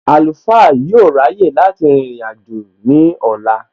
Àlùfáà yóò ráyè láti rìnrìn àjò ní ọ̀la